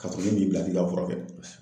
Ka sɔrɔ ne m'i bila k'i ka fura kɛ.